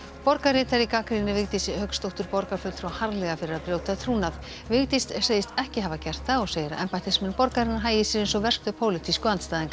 borgarritari gagnrýnir Vigdísi Hauksdóttur borgarfulltrúa harðlega fyrir að brjóta trúnað Vigdís segist ekki hafa gert það og segir að embættismenn borgarinnar hagi sér eins og verstu pólitísku andstæðingar